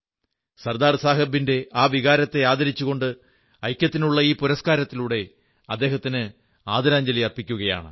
സർദാർ സാബിന്റെ ആ വികാരത്തെ ആദരിച്ചുകൊണ്ട് ഐക്യത്തിനുള്ള ഈ പുരസ്കാരത്തിലൂടെ അദ്ദേഹത്തിന് ആദരാഞ്ജലി അർപ്പിക്കുന്നു